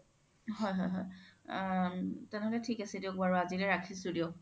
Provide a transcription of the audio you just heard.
হয় হয় আ তেনে হ্'লে থিক আছে দিয়ক বাৰু আজিলে ৰাখিছো দিয়ক